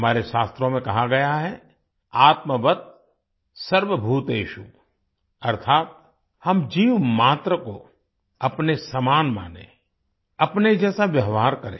हमारे शास्त्रों में कहा गया है आत्मवत् सर्वभूतेषु अर्थात् हम जीव मात्र को अपने समान मानें अपने जैसा व्यवहार करें